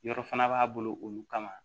Yɔrɔ fana b'a bolo olu kama